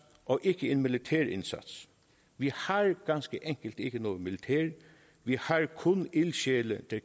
og ikke en militær indsats vi har ganske enkelt ikke noget militær vi har kun ildsjæle der